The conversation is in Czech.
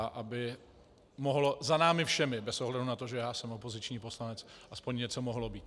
A aby mohlo za námi všemi, bez ohledu na to, že já jsem opoziční poslanec, aspoň něco mohlo být.